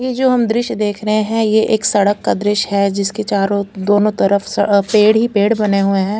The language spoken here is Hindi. ये जो हम ये ध्रिश्य देख रहे है ये एक सडक का द्श्य है जिसके चारो दोनों तरफ पेड़ ही पेड़ बने हुए है।